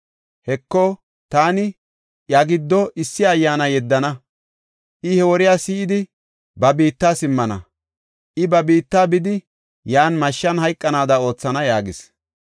Heko, taani iya giddo issi ayyaana yeddana; I he woriya si7idi ba biitta simmana. I ba biitta bidi, yan mashshan hayqanaada oothana’ ” yaagis.